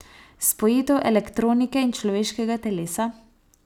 Spojitev elektronike in človeškega telesa?